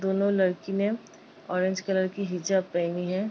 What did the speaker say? दोनों लड़की ने ऑरेंज कलर की हिजाब पहनी है।